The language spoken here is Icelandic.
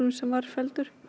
sem var felldur